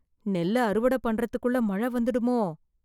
நெல்லு அறுவடை செய்வதற்குள் மழை வந்துடுமோ?